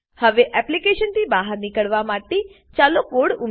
હવે એપ્લીકેશનથી બહાર નીકળવા માટે ચાલો કોડ ઉમેરીએ